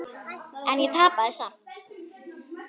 En ég tapaði samt.